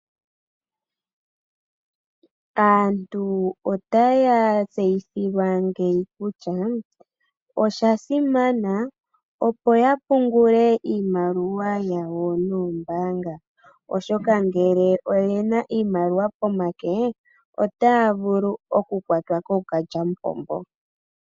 Aantu otaya tseyithilwa ngeyi kutya oshasimana opo yapungule iimaliwa yawo noombanga, oshoka ngele oyena iimaliwa pomake otaya vulu okukwatwa kookalyampombo.